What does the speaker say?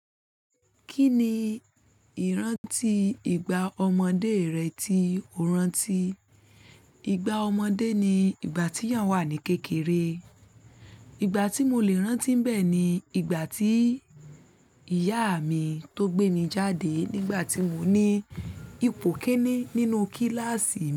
Kí ni ìrántí ìgbà ọmọdé rẹ tí o rántí? Ìgbà ọmọdé ni ìgbà tí èèyàn wà ní kékeré. Ìgbà tí mo le rántí n bẹ́ ni ìgbà tí ìyá mi tó gbé mi jáde nígbà tí mo ní ipò ikini nínú kíláàsì mi.